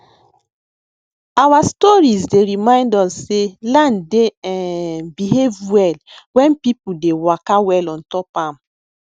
our storeis dey remind us sey land dey um behave well wen people dey waka well ontop am